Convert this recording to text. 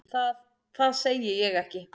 Það segi ég ekki.